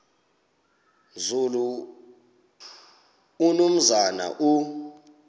nzulu umnumzana u